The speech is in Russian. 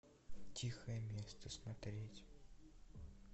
тихое место смотреть